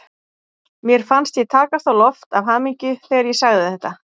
Mér fannst ég takast á loft af hamingju þegar ég sagði þetta.